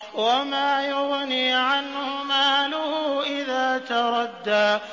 وَمَا يُغْنِي عَنْهُ مَالُهُ إِذَا تَرَدَّىٰ